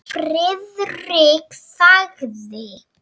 Friðrik þagði.